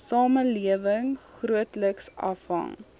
samelewing grootliks afhang